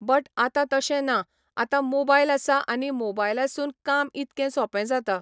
but आतां तशें ना आतां मोबायल आसा आनी मोबायलासून काम इतकें सोपें जाता